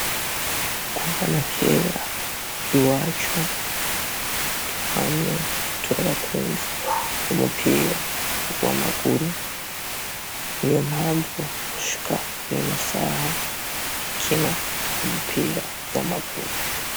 Kuva na kera iwacu twamye turi abakunzi b'umupira w'amaguru, niyo mpavu gushika nino saha dukina umupira w'amaguru.